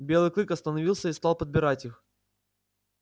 белый клык остановился и стал подбирать их